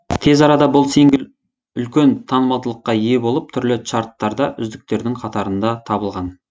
тез арада бұл сингл үлкен танымалдылыққа ие болып түрлі чарттарда үздіктердің қатарында табылған